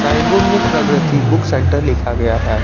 Signboard में Pragati book centre लिखा गया है।